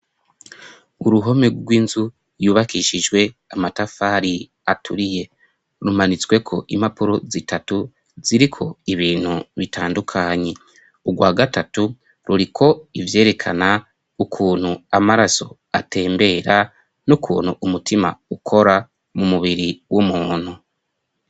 Uruhome rw'inzu yubakishijwe amatafari aturiye. Rumanitsweko imapuro zitatu ziriko ibintu bitandukanye. Urwa gatatu ruriko ivyerekana ukuntu amaraso atembera, n'ukuntu umutima ukora mu mubiri w'umuntu.